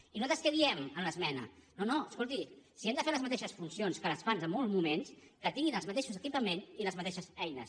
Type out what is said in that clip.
i nosaltres què diem a l’esmena no no escolti si han de fer les mateixes funcions que les fan en molts moments que tinguin els mateixos equipaments i les mateixes eines